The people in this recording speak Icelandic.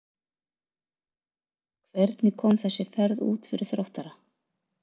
Hvernig kom þessi ferð út fyrir Þróttara?